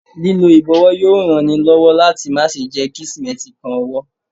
Lílọ ìbọ̀wọ́ yóò ran ni lọ́wọ́ láti má ṣe jẹ́ kí Símẹ́ǹtì kan ọwọ́.